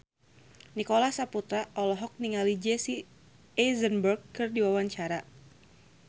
Nicholas Saputra olohok ningali Jesse Eisenberg keur diwawancara